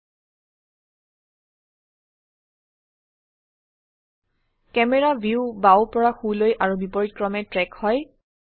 camera view বাও পৰা সোলৈ আৰু বিপৰীতক্ৰমে ট্ৰেক হয়